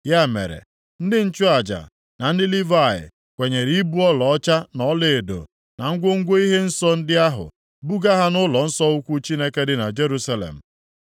Ya mere, ndị nchụaja na ndị Livayị kwenyere ibu ọlaọcha na ọlaedo, na ngwongwo ihe nsọ ndị ahụ, buga ha nʼụlọnsọ ukwu Chineke dị na Jerusalem.